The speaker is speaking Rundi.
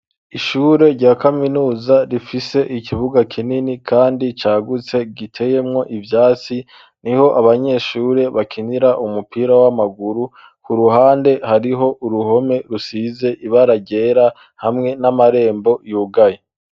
Ishure rya kaminuza, rifise ikibuga kinini, kandi cagutse, giteyemwo ivyatsi; niho abanyeshure bakinira, umupira w'amaguru; ku ruhande, hariho uruhome, rusize ibara ryera, hamwe n'amarembo yugaye.